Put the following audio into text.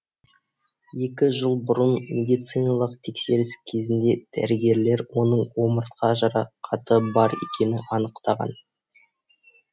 екі жыл бұрын медициналық тексеріс кезінде дәрігерлер оның омыртқа жарақаты бар екенін анықтаған